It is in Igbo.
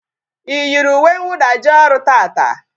Ị yiri uwe nwụda jee ọrụ taata?